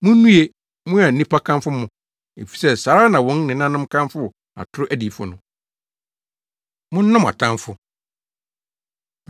Munnue, mo a nnipa kamfo mo, efisɛ saa ara na wɔn nenanom kamfoo atoro adiyifo no.” Monnɔ Mo Atamfo